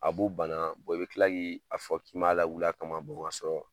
A b'u bana i bi kila k'i a fɔ k'i ma lawulila a kama ka sɔrɔ